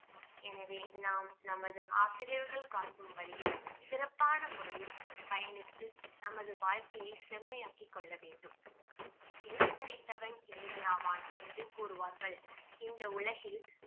எனவே நாம் நமது ஆசிரியர்கள் காட்டும் வழியில் சிறப்பான முறையில் பயணித்து நமது வாழ்க்கையை செம்மையாக்கி கொள்ள வேண்டும் எழுத்தறிவித்தவன் இறைவன் ஆவான் என்று கூறுவார்கள் இந்த உலகில்